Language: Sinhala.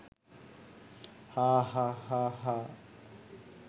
හාහ් හාහ් හාහ් හාහ්